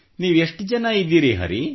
ನೀವು ಎಷ್ಟು ಜನ ಇದ್ದೀರಿ ಹರಿ